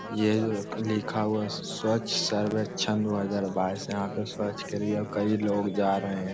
ये जो लिखा हुआ है स्वच्छ सर्वेक्षण दो हजार बायस यहां पे स्वच्छ के लिए कई लोग जा रहें।